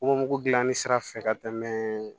Wo dilanni sira fɛ ka tɛmɛ